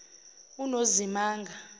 unozimanga